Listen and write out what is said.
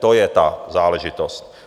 To je ta záležitost.